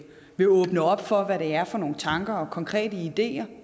vil åbne op for hvad det er for nogle tanker og konkrete ideer og